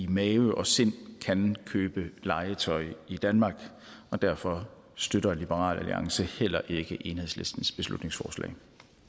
mave og sind kan købe legetøj i danmark og derfor støtter liberal alliance heller ikke enhedslistens beslutningsforslag